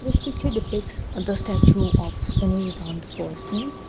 this picture depicts the statue of old person.